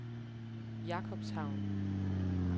Jakobshavn